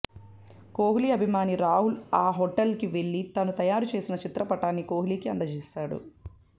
కోహ్లీ అభిమాని రాహుల్ ఆ హోటల్కి వెళ్లి తాను తయారుచేసిన చిత్ర పటాన్ని కోహ్లీకి అందజేశాడు